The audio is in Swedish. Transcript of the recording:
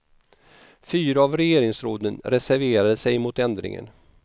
Fyra av regeringsråden reserverade sig mot ändringen.